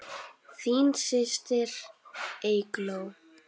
Þín systir, Eygló.